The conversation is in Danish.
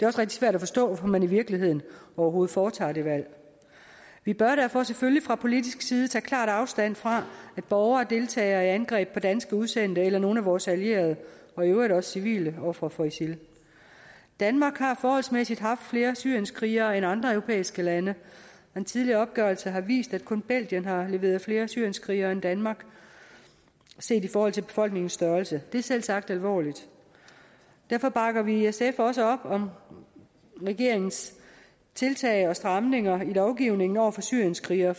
også rigtig svært at forstå hvorfor man i virkeligheden overhovedet foretager det valg vi bør derfor selvfølgelig fra politisk side tage klart afstand fra at borgere deltager i angreb på danske udsendte eller nogle af vores allierede og i øvrigt også civile ofre for isil danmark har forholdsmæssigt haft flere syrienskrigere end andre europæiske lande en tidligere opgørelse har vist at kun belgien har leveret flere syrienskrigere end danmark set i forhold til befolkningens størrelse det er selvsagt alvorligt derfor bakker vi i sf også op om regeringens tiltag og stramninger i lovgivningen over for syrienskrigere